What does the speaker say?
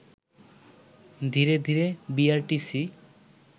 ধীরে ধীরে বিআরটিসি